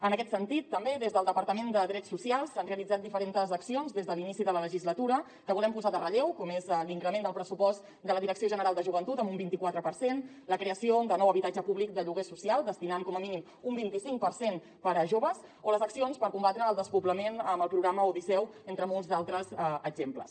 en aquest sentit també des del departament de drets socials s’han realitzat diferentes accions des de l’inici de la legislatura que volem posar en relleu com l’increment del pressupost de la direcció general de joventut amb un vint i quatre per cent la creació de nou habitatge públic de lloguer social destinant hi com a mínim un vint i cinc per cent per a joves o les accions per combatre el despoblament amb el programa odisseu entre molts altres exemples